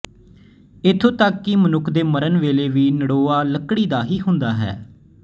ਇੱਥੋਂ ਤੱਕ ਕਿ ਮਨੁੱਖ ਦੇ ਮਰਨ ਵੇਲੇ ਵੀ ਨੜੋਆ ਲੱਕੜੀ ਦਾ ਹੀ ਹੁੰਦਾ ਹੈ